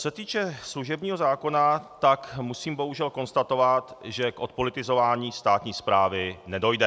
Co se týče služebního zákona, tak musím bohužel konstatovat, že k odpolitizování státní správy nedojde.